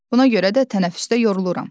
Buna görə də tənəffüsdə yoruluram.